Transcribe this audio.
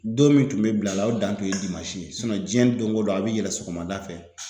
Don min tun bɛ bila a la o dan kun ye ye diɲɛ don o don a bɛ yɛlɛn sɔgɔmada fɛ